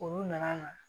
Olu nana